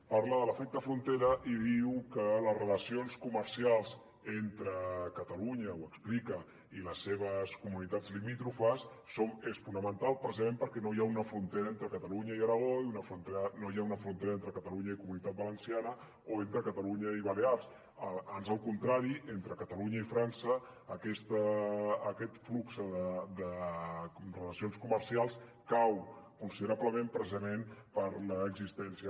parla de l’efecte frontera i diu que les relacions comercials entre catalunya ho explica i les seves comunitats limítrofes són fonamentals precisament perquè no hi ha una frontera entre catalunya i aragó no hi ha una frontera en tre catalunya i comunitat valenciana o entre catalunya i balears ans al contrari entre catalunya i frança aquest flux de relacions comercials cau considerablement precisament per l’existència